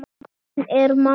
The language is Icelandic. Hún er mamma.